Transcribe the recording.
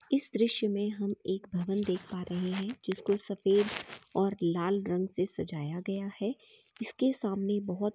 इस दृश्य में हम एक भवन देख पा रहे है जिसमे सफ़ेद और लाल रंग से सजाया गया है इसके सामने बहुत--